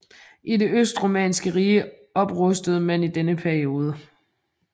I det østromerske rige oprustede man i denne periode